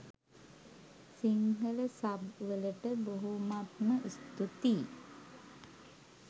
Sinhala sub වලට බොහොමත්ම ස්තූතියි!